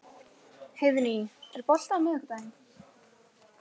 Heiðný, er bolti á miðvikudaginn?